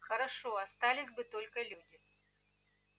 хорошо остались бы только люди